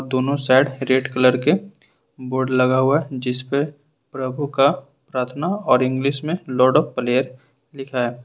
दोनों side red colour के board लगा हुआ है जिस पर प्रभु का प्रार्थना और इंग्लिश में लोड प्लेयर लिखा है।